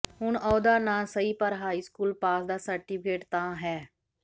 ਹੁਣ ਅਹੁਦਾ ਨਾ ਸਹੀ ਪਰ ਹਾਈ ਸਕੂਲ ਪਾਸ ਦਾ ਸਰਟੀਫਿਕੇਟ ਤਾਂ ਹੈ